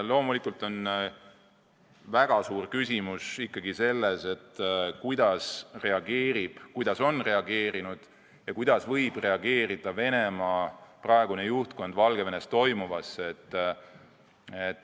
Loomulikult on väga suur küsimus selles, kuidas on reageerinud ja kuidas võib reageerida Venemaa praegune juhtkond Valgevenes toimuvale.